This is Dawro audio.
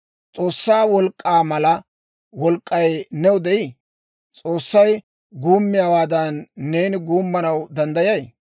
S'oossaa wolk'k'aa mala wolk'k'ay new de'ii? S'oossay guummiyaawaadan neeni guummanaw danddayay?